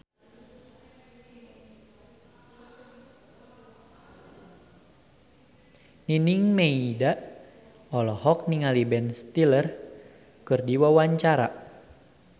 Nining Meida olohok ningali Ben Stiller keur diwawancara